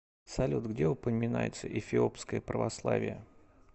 салют где упоминается эфиопское православие